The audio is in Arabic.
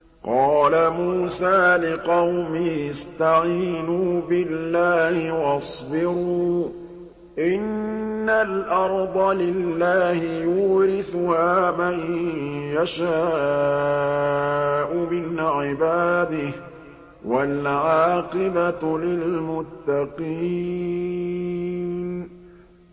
قَالَ مُوسَىٰ لِقَوْمِهِ اسْتَعِينُوا بِاللَّهِ وَاصْبِرُوا ۖ إِنَّ الْأَرْضَ لِلَّهِ يُورِثُهَا مَن يَشَاءُ مِنْ عِبَادِهِ ۖ وَالْعَاقِبَةُ لِلْمُتَّقِينَ